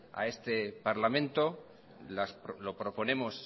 a este parlamento lo proponemos